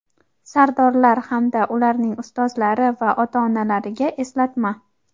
sardorlar hamda ularning ustozlari va ota-onalariga eslatma.